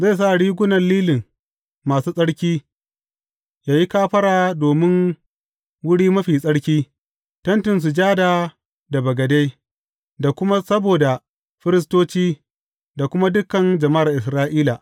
Zai sa rigunan lilin masu tsarki yă yi kafara domin Wuri Mafi Tsarki, Tentin Sujada da bagade, da kuma saboda firistoci da kuma dukan jama’ar Isra’ila.